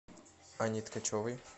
анне ткачевой